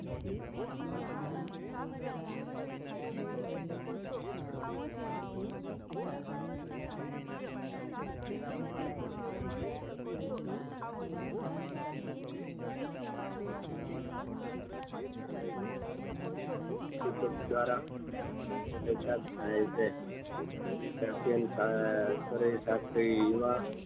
ઉદીપક દ્વારા જોડાણ થાય છે અતિયનત થાય રાત્રે એવા